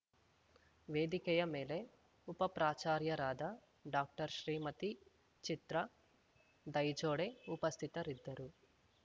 ವೇದಿಕೆಯ ಮೇಲೆ ಉಪಪ್ರಾಚಾರ್ಯರಾದ ಡಾಕ್ಟರ್ಶ್ರೀಮತಿ ಚಿತ್ರಾ ದೈಜೋಡೆ ಉಪಸ್ಥಿತರಿದ್ದರು